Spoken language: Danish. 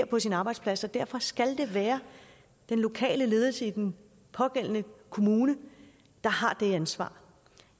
på sin arbejdsplads så derfor skal det være den lokale ledelse i den pågældende kommune der har det ansvar